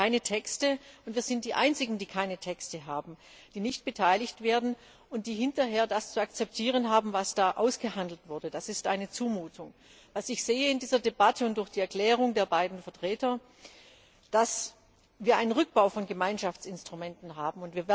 Wir haben keine Texte, und wir sind die Einzigen, die keine Texte haben, die nicht beteiligt werden und die hinterher das zu akzeptieren haben, was ausgehandelt wurde. Das ist eine Zumutung! Was ich in dieser Debatte und nach der Erklärung der beiden Vertreter sehe, ist, dass wir einen Abbau von Gemeinschaftsinstrumenten haben.